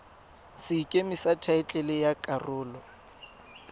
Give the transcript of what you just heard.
sekeme sa thaetlele ya karolo